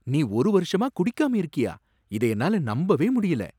நீ ஒரு வருஷமா குடிக்காம இருக்கியா! இத என்னால நம்பவே முடியல!